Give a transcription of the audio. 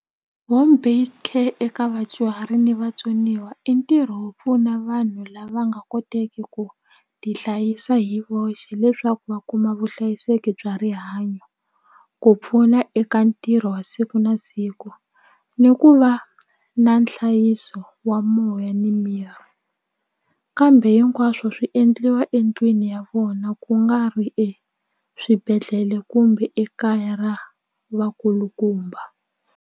Home based care eka vadyuhari ni vatsoniwa i ntirho wo pfuna vanhu lava nga koteki ku tihlayisa hi voxe leswaku va kuma vuhlayiseki bya rihanyo ku pfuna eka ntirho wa siku na siku ni ku va na nhlayiso wa moya ni miri kambe hinkwaswo swi endliwa endlwini ya vona ku nga ri exibedhlele kumbe ekaya ra vakulukumba.